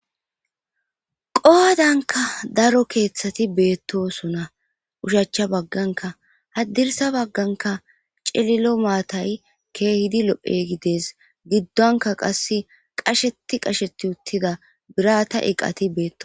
qohadanka daro keeththati beettosona ushachcha bagganka haddirsa bagganka celilo maatay keehidi lo7he gides giddonka qasse qasheti qasheti uttida birata iqati beetto